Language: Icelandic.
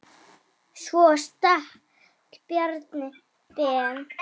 Svo stakk Bjarni Ben.